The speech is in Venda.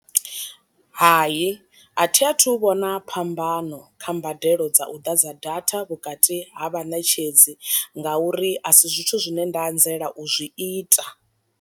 Hai a thi a thu vhona phambano kha mbadelo dza u ḓadza data vhukati ha vhaṋetshedzi nga uri a si zwithu zwine nda anzela u zwi ita.